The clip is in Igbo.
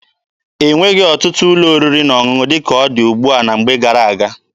E nweghị ọtụtụ ụlọ oriri na ọṅụṅụ dị ka ọ dị ugbua na mgbe gara-aga.